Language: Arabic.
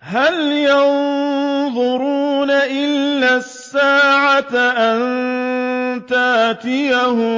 هَلْ يَنظُرُونَ إِلَّا السَّاعَةَ أَن تَأْتِيَهُم